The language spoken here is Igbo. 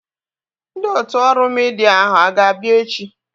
Ndị otu ọrụ midia ahu a ga-abịa echi?